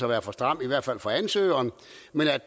der er for stramt for ansøgerne men